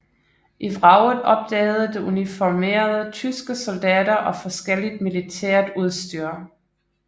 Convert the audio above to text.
I vraget opdagede det uniformerede tyske soldater og forskelligt militært udstyr